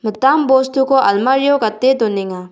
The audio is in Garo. mitam bostuko almario gate donenga.